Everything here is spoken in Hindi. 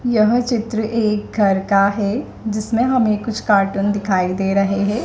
यह चित्र एक घर का है जिसमें हमें कुछ कार्टन दिखाई दे रहे है।